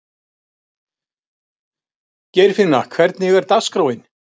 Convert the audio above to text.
Geirfinna, hvernig er dagskráin?